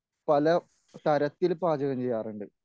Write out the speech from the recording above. പലതരത്തിൽ പാചകം ചെയ്യാറുണ്ട്.